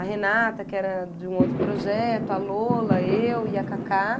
A Renata, que era de um outro projeto, a Lola, eu e a Cacá.